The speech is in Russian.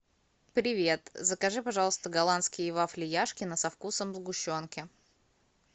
привет закажи пожалуйста голландские вафли яшкино со вкусом сгущенки